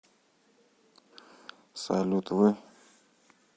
салют вы